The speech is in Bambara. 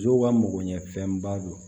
Musow ka magoɲɛfɛnba don